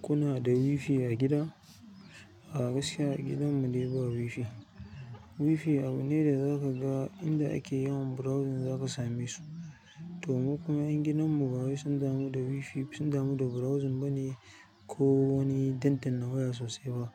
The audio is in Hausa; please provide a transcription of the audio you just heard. Kuna da wifi a gida? A'a gaskiya, a gidanmu dai ba wifi. Wifi abune da zaka ga, inda ake yin browsing ne zaka same shi to mu kuma, ƴan gidanmu ba wa sun damu da wifi, sun damu da browsing ba ne ko wani dandanna waya sosai ba.